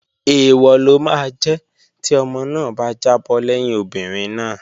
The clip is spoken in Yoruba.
Èèwọ̀ ló máa jẹ́ tí ọmọ náà bá jábọ́ lẹ́yìn obìnrin náà